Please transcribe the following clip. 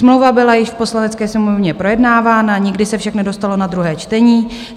Smlouva byla již v Poslanecké sněmovně projednávána, nikdy se však nedostalo na druhé čtení.